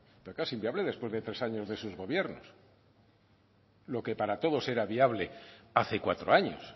pero claro es inviable después de tres años de esos gobiernos lo que para todos era viable hace cuatro años